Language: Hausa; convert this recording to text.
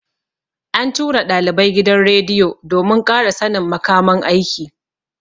An tura ɗalibai gidan rediyo domin ƙara sannin makaman aiki.